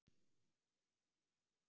Hættumerkin eru til dæmis svipuð.